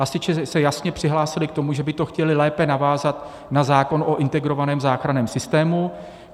Hasiči se jasně přihlásili k tomu, že by to chtěli lépe navázat na zákon o integrovaném záchranném systému.